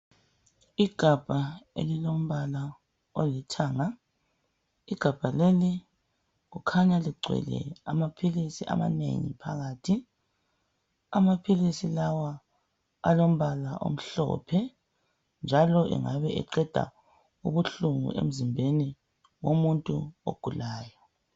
igabha elilombala ala olithanga igabha leli kukhanya ligcwele amaphilisi amanengi phakathi amaphilisi lawa alompala omhlophe njalo engabe eqeda ubuhlungu emzimbeni womuntu ogulayo